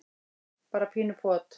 bara pínu pot.